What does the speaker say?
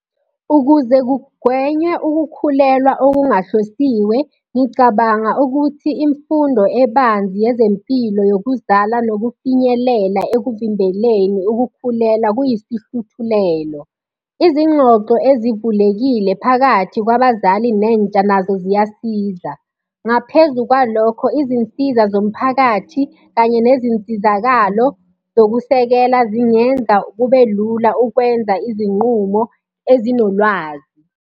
Ukuze kugwenywe ukukhulelwa okungahlosiwe, ngicabanga ukuthi imfundo ebanzi yezempilo yokuzala nokufinyelela ekuvimbeleni ukukhulelwa kuyisihluthulelo. Izingxoxo ezivulekile phakathi kwabazali nentsha nazo ziyasiza. Ngaphezu kwalokho, izinsiza zomphakathi kanye nezinsizakalo zokusekela zingenza kube lula ukwenza izinqumo ezinolwazi.